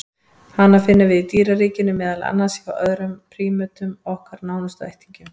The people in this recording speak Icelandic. Hana finnum við í dýraríkinu, meðal annars hjá öðrum prímötum, okkar nánustu ættingjum.